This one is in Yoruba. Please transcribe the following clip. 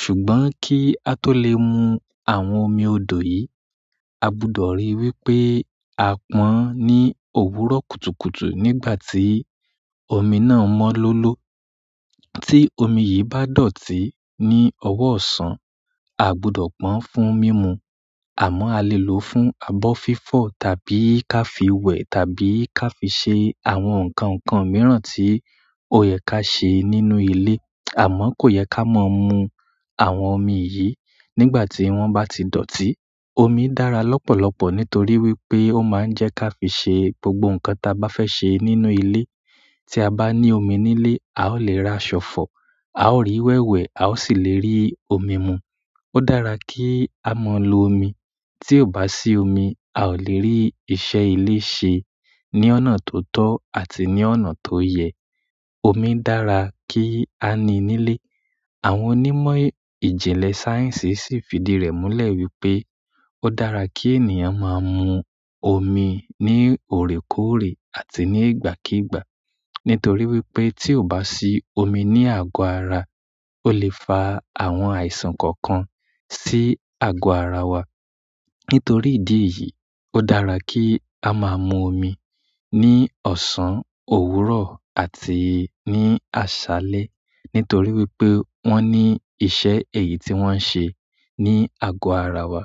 Ṣùgbọ́n ki a to le mu àwọn omi odo yi agbudọ ri pe a pon ni òwúrọ̀ kùtùkùtù nígbà ti omi na mọ lolo tí omi yìí bá dọ̀tí ní ọwọ́ ọ̀sán, a gbudọ̀ pọ́n fún mímu. Àmọ́ a lè lò ó fún abọ́ fífọ̀ tàbí ká fi wẹ̀ tàbí ká fi ṣe àwọn ǹkan ǹkan mìíràn tí ó yẹ ká ṣe nínú ilé. Àmọ́ kò yẹ ká mọ mu àwọn omi yìí nígbà tí wọ́n bá ti dọ̀tí. Omi dára lọ́pọ̀lọpọ̀ nítorí wípé ó máa ń jẹ́ ká fi ṣe gbogbo ǹkan ta bá fẹ́ ṣe nínú ilé. Tí a bá ní omi nílé, a ó lè ra aṣọ fọ̀, a ó rí wẹ̀ wẹ̀, a ó sì lè rí omi mu. Ó dára kí á mọ lo omi. Tí ò bá sí omi, a ò lè rí iṣẹ́ ilé ṣe ní ọ̀nà tó tọ́ àti ní ọ̀nà tó yẹ. Omi dára kí á ní nílé. Àwọn onímọ̀ ìjìnlẹ̀ sáyẹ̀nsì sì fìdí rẹ̀ múlẹ̀ wípé ó dára kí ènìyàn máa ń mu omi ní òrékòrè àti ní ìgbàkígbà. Nítorí wípé tí ò bá sí omi ní àgọ ara, ó lè fa àwọn àìsàn kọ̀ọ̀kan sí àgọ́ ara wa. Nítorí ìdí èyí, ó dára kí a máa ń mu omi ní ọ̀sán, òwúrọ̀ àti ní àṣálẹ́. Nítorí wípé wọ́n ní ìṣe èyí tí wọ́n ń ṣe ní àgọ́ ara wa.